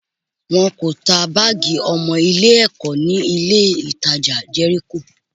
Wọn ò ta báàgì ọmọ Ilé-ẹ̀kọ́ ní ilé-ìtajà Jẹ́ríkò